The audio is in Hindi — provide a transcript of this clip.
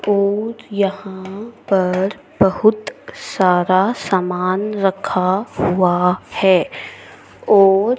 और यहां पर बहुत सारा सामान रखा हुआ हैं और--